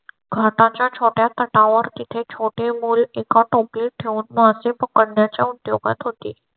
घाटा च्या छोट्या तटावर तिथे छोटे मूल एका टोपलीत ठेवून मासे पकडण्या च्या उद्योगात होती.